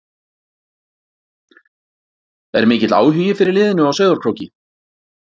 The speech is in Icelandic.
Er mikill áhugi fyrir liðinu á Sauðárkróki?